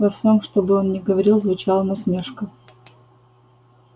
во всём что бы он ни говорил звучала насмешка